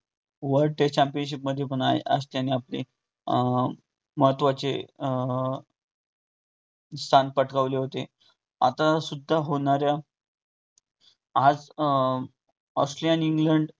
world trade championship मध्ये पण आहेत. आज त्यांनी अं आपले महत्वाचे अं स्थान पटकावले होते, आता सुद्धा होणाऱ्या आज अं ऑस्ट्रेलिया आणि इंग्लंड